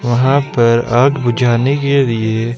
वहां पर आग बुझाने के लिए--